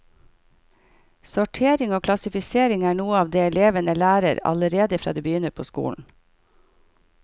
Sortering og klassifisering er noe av det elevene lærer allerede fra de begynner på skolen.